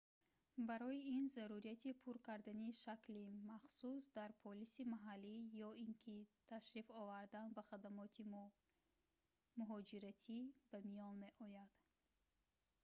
барои ин зарурияти пур кардани шакли махсус дар полиси маҳаллӣ ё ин ки ташриф овардан ба хадамоти муҳоҷиратӣ ба миён меояд